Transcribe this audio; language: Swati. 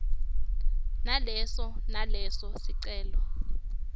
naleso naleso sicelo